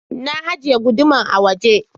Na ajiye guduman a waje.